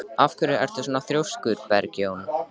Af hverju ertu svona þrjóskur, Bergjón?